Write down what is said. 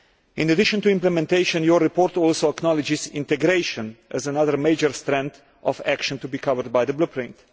In addition to implementation, your report acknowledges integration as another major focus of action to be covered by the Blueprint.